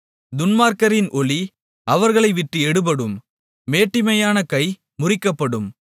துன்மார்க்கரின் ஒளி அவர்களைவிட்டு எடுபடும் மேட்டிமையான கை முறிக்கப்படும்